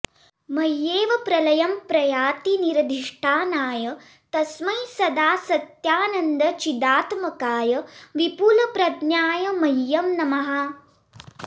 मय्येव प्रलयं प्रयाति निरधिष्ठानाय तस्मै सदा सत्यानन्दचिदात्मकाय विपुलप्रज्ञाय मह्यं नमः